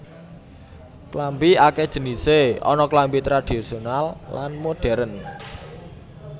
Klambi akèh jenisé ana klambi tradhisional lan modhèrn